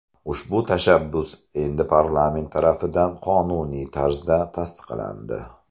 Ushbu tashabbus endi parlament tarafidan qonuniy tarzda tasdiqlandi.